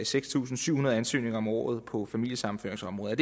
seks tusind syv hundrede ansøgninger om året på familiesammenføringsområdet